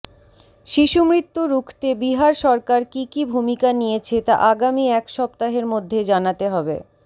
শিশুমৃত্যু রুখতে বিহার সরকার কী কী ভুমিকা নিয়েছে তা আগামী এক সপ্তাহের মধ্যে জানাতে হবে